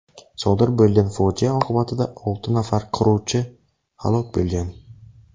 Sodir bo‘lgan fojia oqibatida olti nafar quruvchi halok bo‘lgan .